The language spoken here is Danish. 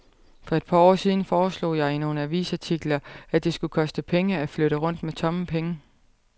For et par år siden foreslog jeg i nogle avisartikler, at det skulle koste penge at flytte rundt med tomme penge.